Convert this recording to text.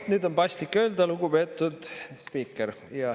No nüüd on paslik öelda, et lugupeetud spiiker!